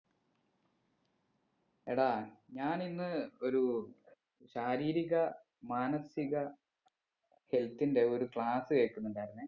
എടാ ഞാനിന്ന് ഒരു ശാരീരിക മാനസിക health ന്റെ ഒരു class കേക്കുന്നുണ്ടായിരുന്നെ